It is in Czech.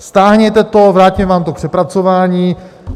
Stáhněte to, vrátíme vám to k přepracování.